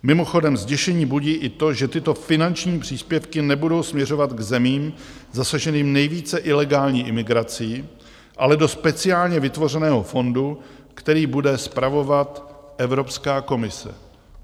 Mimochodem, zděšení budí i to, že tyto finanční příspěvky nebudou směřovat k zemím zasaženým nejvíce ilegální imigrací, ale do speciálně vytvořeného fondu, který bude spravovat Evropská komise.